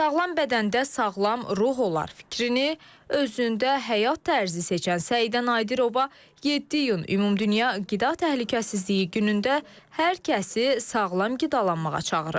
Sağlam bədəndə sağlam ruh olar fikrini özündə həyat tərzi seçən Səidə Nadirova 7 iyun ümumdünya qida təhlükəsizliyi günündə hər kəsi sağlam qidalanmağa çağırır.